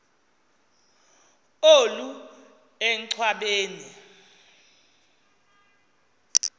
olu enchwa beni